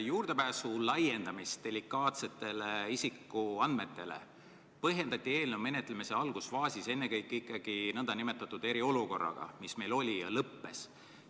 Juurdepääsu laiendamist delikaatsetele isikuandmetele põhjendati eelnõu menetlemise algusfaasis ennekõike nn eriolukorraga, mis meil oli ja lõppes.